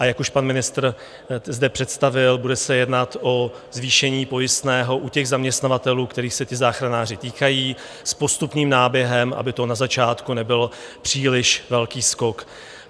A jak už pan ministr zde představil, bude se jednat o zvýšení pojistného u těch zaměstnavatelů, kterých se ti záchranáři týkají, s postupným náběhem, aby to na začátku nebylo příliš velký skok.